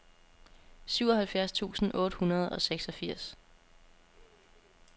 syvoghalvfjerds tusind otte hundrede og seksogfirs